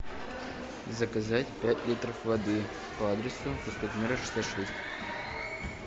заказать пять литров воды по адресу проспект мира шестьдесят шесть